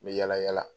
N bɛ yala yala